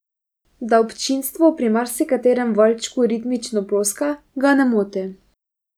Da občinstvo pri marsikaterem valčku ritmično ploska, ga ne moti.